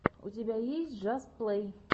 у тебя есть джаст плэй